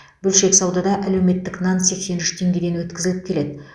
бөлшек саудада әлеуметтік нан сексен үш теңгеден өткізіліп келеді